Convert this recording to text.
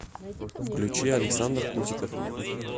включи александр кутиков